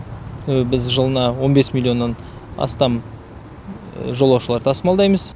біз жылына он бес миллионнан астам жолаушылар тасымалдаймыз